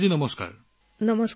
কল্যাণী জী নমস্কাৰ